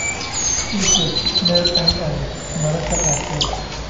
ii sheeg meel aan aado mararka qaarkood